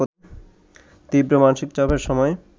তীব্র মানসিক চাপের সময়